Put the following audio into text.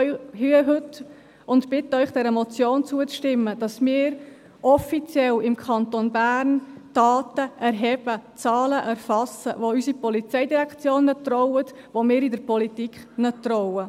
Deshalb stehe ich heute hier und bitte Sie, dieser Motion zuzustimmen, sodass wir im Kanton Bern offiziell die Daten erheben, Zahlen erfassen, denen unsere Polizeidirektion traut, denen wir in der Politik trauen.